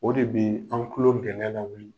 O de bɛ an tulo dɛngɛ la wuli.